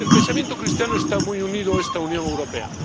El pensamiento cristiano está muy unido a esta Unión Europea.